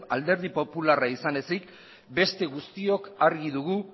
alderdi popularra izan ezik beste guztiok argi dugu